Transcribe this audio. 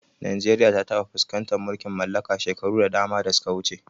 Najeriya ta taɓa fuskantar mulkin mallaka shekaru da dama da suka wuce.